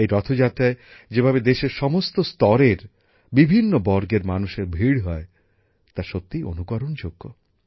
এই রথযাত্রায় যেভাবে দেশের সমস্ত স্তরের সমস্ত বর্গের মানুষের ভিড় হয় তা সত্যিই অনুকরণযোগ্য